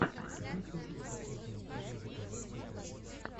есть ли у тебя последняя серия заказать в китае